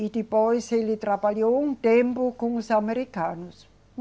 E depois ele trabalhou um tempo com os americanos.